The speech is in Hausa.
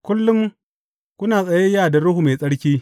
Kullum kuna tsayayya da Ruhu Mai Tsarki!